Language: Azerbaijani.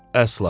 Əsla!